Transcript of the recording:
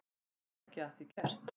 Get ekki að því gert.